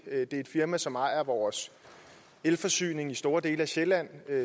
det er et firma som ejer vores elforsyning i store dele af sjælland